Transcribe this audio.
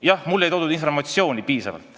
Jah, mulle ei toodud piisavalt informatsiooni.